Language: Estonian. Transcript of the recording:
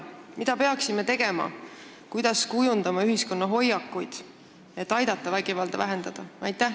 Mida peaksime tegema, kuidas kujundama ühiskonna hoiakuid, et aidata vägivalda vähendada?